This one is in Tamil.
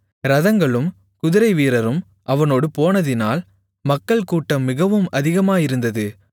இரதங்களும் குதிரைவீரரும் அவனோடு போனதினால் மக்கள்கூட்டம் மிகவும் அதிகமாயிருந்தது